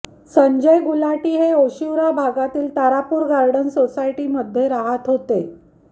संजय गुलाटी हे ओशिवरा भागातील तारापूर गार्डन सोसायटीमध्ये राहात होते